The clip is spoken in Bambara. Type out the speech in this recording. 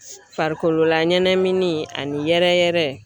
Farikololaɲɛnamini ani yɛrɛyɛrɛ